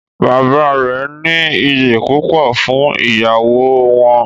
Bàbá rẹ ní ìyí púpọ fún ìyàwó wọn.